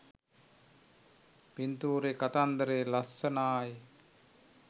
පින්තූර කතන්දරේ ලස්සනායි